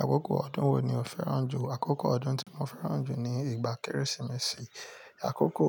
Àkókò ọdún wo ni o fẹ́ràn jù? Àkókò ọdún tí mo fẹ́ràn jù ni ìgbà Kérésìmesì. Àkókò